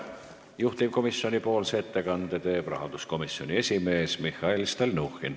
Juhtivkomisjoni ettekande teeb rahanduskomisjoni esimees Mihhail Stalnuhhin.